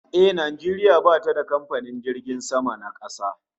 A'a, Najeriya bata da kamfanin jiragen sama na kasa